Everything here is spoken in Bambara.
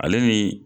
Ale ni